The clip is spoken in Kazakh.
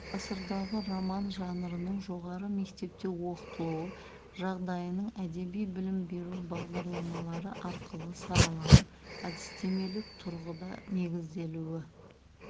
ғасырдағы роман жанрының жоғары мектепте оқытылу жағдайының әдеби білім беру бағдарламалары арқылы сараланып әдістемелік тұрғыда негізделуі